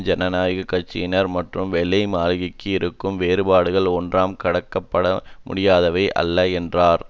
ஜனநாயக கட்சியினர் மற்றும் வெள்ளை மாளிகைக்கும் இருக்கும் வேறுபாடுகள் ஒன்றாம் கடக்கப்பட முடியாதவை அல்ல என்றார்